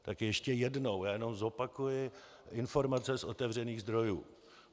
Tak ještě jednou - já jen zopakuji informace z otevřených zdrojů.